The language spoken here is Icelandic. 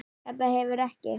Þetta hefur ekki?